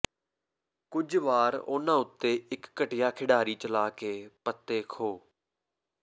ਕੁੱਝ ਵਾਰ ਉਨ੍ਹਾਂ ਉੱਤੇ ਇੱਕ ਘਟੀਆ ਖਿਡਾਰੀ ਚਲਾ ਕੇ ਪੱਤੇ ਖੋਹ